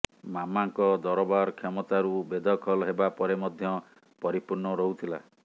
ମାମାଙ୍କ ଦରବାର କ୍ଷମତାରୁ ବେଦଖଲ ହେବା ପରେ ମଧ୍ୟ ପରିପୂର୍ଣ୍ଣ ରହୁଥିଲା